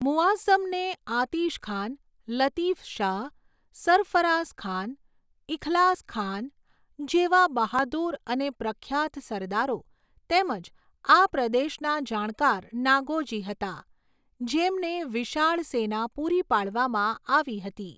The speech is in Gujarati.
મુઆઝ્ઝમને આતિશખાન, લતીફશાહ, સરફરાઝખાન, ઇખલાસખાન જેવા બહાદુર અને પ્રખ્યાત સરદારો તેમજ આ પ્રદેશના જાણકાર નાગોજી હતા, જેમને વિશાળ સેના પૂરી પાડવામાં આવી હતી.